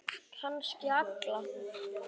Kannski alla.